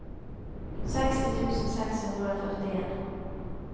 seksti tusen seks hundre og førtien